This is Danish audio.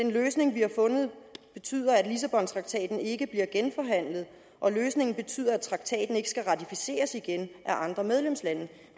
løsning vi har fundet betyder at lissabontraktaten ikke bliver genforhandlet og løsningen betyder at traktaten ikke skal ratificeres igen af andre medlemslande